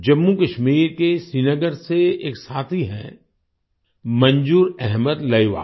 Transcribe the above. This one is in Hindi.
जम्मूकश्मीर के श्रीनगर से एक साथी हैं मंजूर अहमद लर्हवाल